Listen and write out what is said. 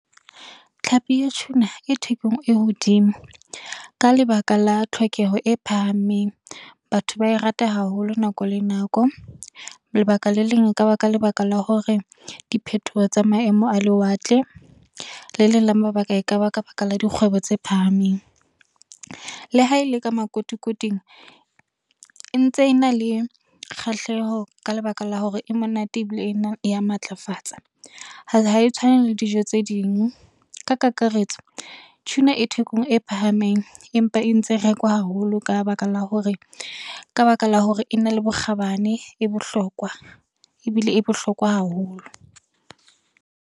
Tlhapi ya tjhuna, e thekong e hodimo, ka lebaka la tlhokeho e phahameng. Batho ba e rata haholo nako le nako. Lebaka le leng e ka ba ka lebaka la hore di phethoho tsa maemo a lewatle, le leng le mabaka, e ka ba ka baka la dikgwebo tse phahameng. Le ha e le ka makotikoting, e ntse e na le kgahleho ka lebaka la hore e monate ebile e ya matlafatsa, ha e tshwane le dijo tse ding. Ka kakaretso, tjhuna e thekong e phahameng empa e ntse rekwa haholo ka baka la hore e na le bokgabane e bohlokwa ebile e bohlokwa haholo.